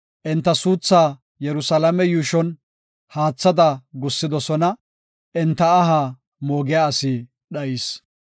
Enta suuthaa Yerusalaame yuushon haathada gussidosona; enta aha moogiya asi dhayis.